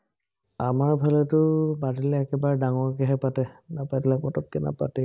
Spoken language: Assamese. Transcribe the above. আমাৰফালেতো পাতিলে একেবাৰে ডাঙৰকেহে পাতে, নাপাতিলে পটক্কে নাপাতেই।